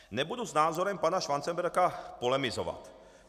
Nebudu s názorem pana Schwanzenberga polemizovat.